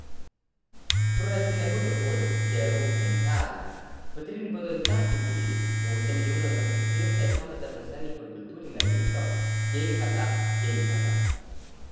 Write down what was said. Proračun ne bo dovolj, vije roke in tarna, potrebni bodo dodatni viri, osem milijonov za prispevke samozaposlenih v kulturi na leto, jejhata, jejhata.